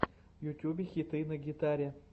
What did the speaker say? в ютьюбе хиты на гитаре